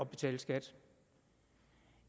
betale skat